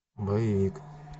боевик